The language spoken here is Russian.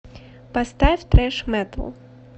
поставь трэш метал